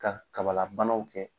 Ka kabala banaw kɛ.